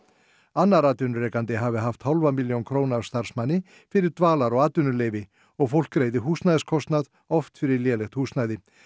annar atvinnurekandi hafi haft hálfa milljón króna af starfsmanni fyrir dvalar og atvinnuleyfi og fólk greiði húsnæðiskostnað oft fyrir lélegt húsnæði